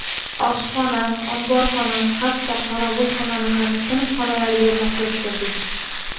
Oshxona, omborxona, hatto qorovulxonani ham sinf xonalariga moslashtirdik.